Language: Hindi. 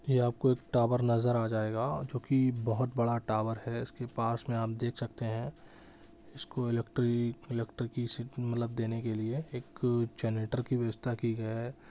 ये आपको एक टावर नज़र आ जायेगा जो की बहुत बड़ा टावर है इसके पास में आप देख सकते है इसको इलेक्ट्रिक इलेक्ट्री-सि देने के लिए एक जनरेटर की व्यवस्था की गयी है।